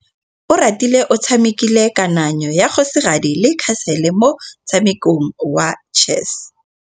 Oratile o tshamekile kananyô ya kgosigadi le khasêlê mo motshamekong wa chess.